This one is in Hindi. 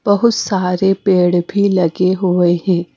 बहुत सारे पेड़ भी लगे हुए हैं।